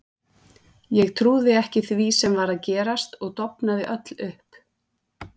Ég trúði ekki því sem var að gerast og dofnaði öll upp.